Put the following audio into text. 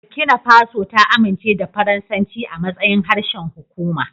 Burkina Faso ta amince da Faransanci a matsayin harshen hukuma.